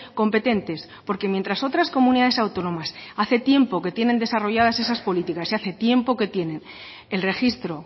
competentes porque mientras otras comunidades autónomas hace tiempo que tienen desarrolladas esas políticas y hace tiempo que tienen el registro